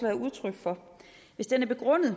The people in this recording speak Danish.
er udtryk for hvis den er begrundet